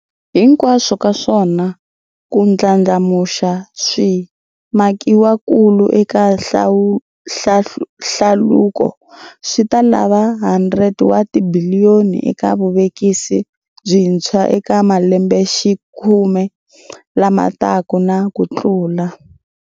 Hinkwaswo ka swona, ku ndlandlamuxa swimakiwakulu eka hlaluko swi ta lava R100 wa tibiliyoni eka vuvekisi byintshwa eka malembexikhume lama taka na kutlula.